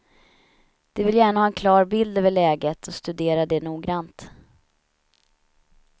De vill gärna ha en klar bild över läget och studera det noggrant.